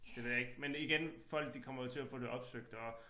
Det ved jeg ikke men igen folk de kommer jo til at få det opsøgt og